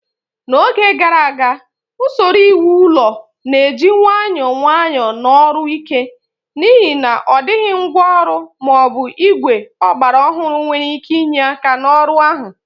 N'oge gara aga, usoro iwu ụlọ na-eji nwayọọ nwayọọ na ọrụ ike, n'ihi na ọ dịghị ngwa ọrụ ma ọ bụ igwe ọgbara ọhụrụ nwere ike inye aka n'ọrụ ahụ.